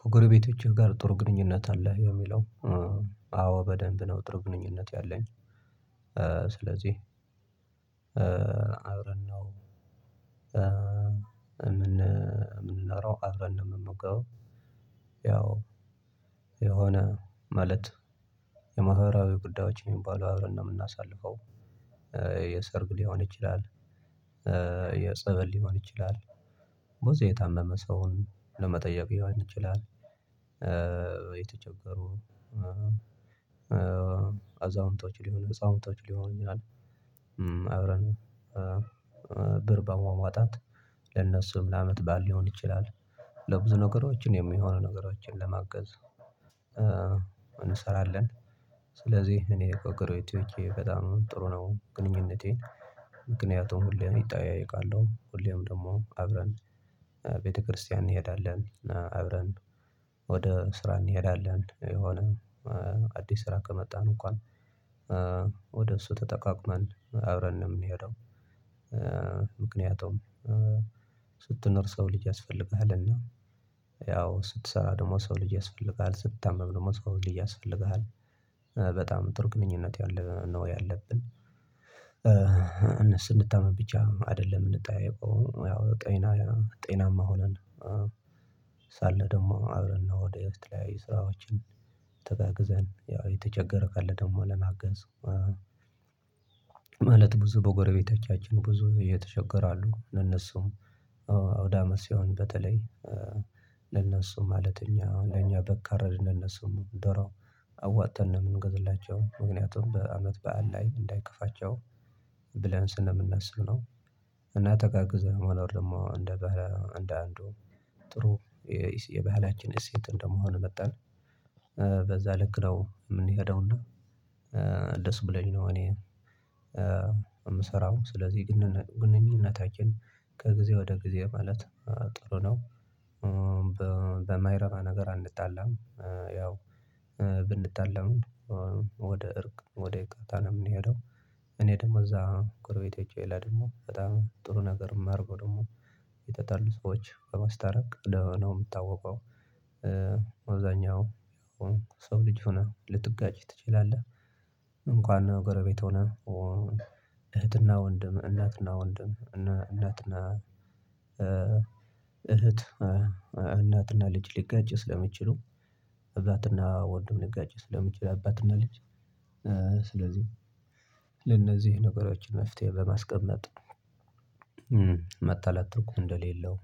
ከጎረቤቶችህ ጋር ጥር ግንኙነት አለህ? የሚለው አዎ በደንብ ነው፣ ጥር ግንኙነት ያለኝ፣ ስለዚህ አብረን ነው፣ የምንኖረው አብረን ነው የምንገባው። ያው የሆነ ማለት የማህበራዊ ጉዳዮች የሚባሉ አብረን ነው የምናሳልፈው፣ የሰርጉ ልሆን ይችላል፣ የጸበል ልሆን ይችላል፣ ቦታ የታመመ ሰውን ለመጠየቅ ልሆን ይችላል፣ የተቸገሩ አዛውንቶች ልሆን ህፃውንቶች ልሆን ይችላል። አብረን፣ ብር በማዋጣታት ለነሱም ለአመት ባል ልሆን ይችላል፣ ለብዙ ነገሮችን የሚሆኑ ነገሮችን ለማገዝ፣ እንሰራለን፣ ስለዚህ እኔ በጎረበቶቼ በጣም ጥሩ ነው ግንኙነቴን፣ ምክንያቱም፣ ሁሌም ይጠያየቃለሁ፣ ሁሌም ደግሞ አብረን ቤተክርስቲያን እንሄዳለን፣ አብረን ወደ ስራ እንሄዳለን፣ የሆነ አዲስ ስራ ከመጣን እንኳን ወደ እሱ ተጠቃቅመን አብረን ነው የምንሄደው፣ ምክንያቱም፤ ስትነር ሰው ልጅ ያስፈልግሃልና፣ ያው ስትሰራ ደግሞ ሰው ልጅ ያስፈልግሃል፣ ስታመም ደግሞ ሰው ልጅ ያስፈልግሃል፣ በጣም ጥሩ ግንኙነት ያለ ነው ያለብን፣ እነሱ እንድታመም ብቻ አይደለም እንድታይ ያው ጤና ያው ጤናማ ሆነን፣ ሳለ ደግሞ አብረን ነው ወደ የተለያዩ ስራዎችን ተጋግዘን ያው የተቸገረ ቃል ደግሞ ለናገዝ፣ ማለት ብዙ በጎረቤታችን ብዙ እየተቸገረ አሉ፣ እነሱ አውዳ አመት ስሆን በተለይ ለነሱ ማለት እኛ አሁን ለእኛ በቃረድ ለነሱ ደራው አዋጥተን ነው የምንገዝላቸው፣ ምክንያቱም በአመት በዓል ላይ እንዳይከፋቸው ብለን ስንነስብ ነው፣ እና ተጋግዘህ መሆን ደግሞ እንደ እንደ አንዱ ጥሩ የባህላችን እሴት እንደመሆኑ መጣን በዛ ልክ ነው፣ የምንሄደውና ደስ ብለንኝ ነው፣ እኔ የምሰራው ስለዚህ ግን ግንኙነታችን ከጊዜ ወደ ጊዜ ማለት ጥሩ ነው። በማይረማ ነገር አአጣላም፣ ያው ብንጣላም ወደ እርቅ ወደ እቃታ ነው የምንሄደው፣ እኔ ደግሞ እዛ ጎርቤቴ ይላል ደግሞ በጣም ጥሩ ነገር የማደርገው ደግሞ የጠጣሉ ሰዎች በማስታረቅ ነው የምታወቀው፣ አብዛኛው ሰው ልጅ ሆነህ ልትጋጭ ትችላለህ፣ እንኳን ጎረቤት ሆነ እህትና ወንድም፣ እናትና ወንድም፣ እናትና እህት እናትና ልጅ ልጋጭ ስለምችሉ፣ እባትና ወንድም ልጋጭ ስለምችል፣ አባትና ልጅ፣ ስለዚህ፣ ለነዚህ ነገሮችን መፍትሄ በማስቀመጥ መጣላት እኮ እንደሌለው፣